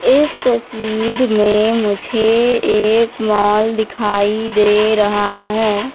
इस तस्वीर में मुझे एक मॉल दिखाई दे रहा है।